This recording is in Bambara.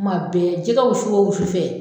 Kuma bɛɛ jɛgɛ wusu ko wusu fɛ